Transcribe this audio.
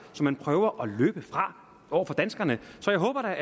som man prøver at løbe fra over for danskerne så jeg håber